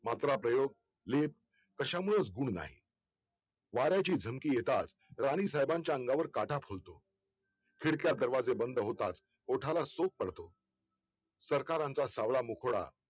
मात्र प्रयोग लीप कश्या मुळेच गुण नाही वाऱ्याची झमकी येताच राणी साहेबांच्या अंगावर काटा फुलतो खिडक्या दरवाजे बंद होतात ओठाला सोक पडतो सरकारांचा सावळा मकुळा